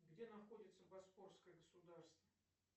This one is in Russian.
где находится московское государство